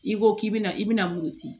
I ko k'i bɛna i bɛna muruti